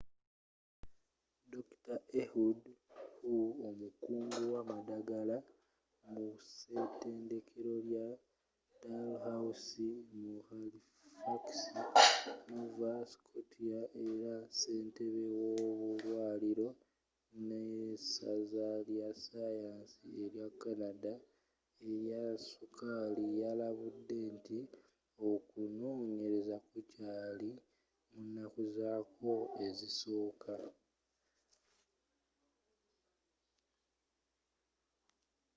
dr. ehud ur omukugu mu madagala ku setendekero lya dalhousie mu halifax nova scotia era sentebe w’obulwaariro n’esaza lyasayansi ery, ecanada eryasukaali lyalabudde nti okunonyereza kukyaali mu nakku zaakwo ezisooka